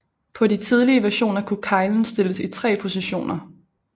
På de tidlige versioner kunne keglen stilles i tre positioner